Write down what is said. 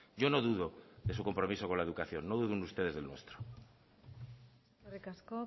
yo no dudo de su compromiso con la educación no duden ustedes del nuestro eskerrik asko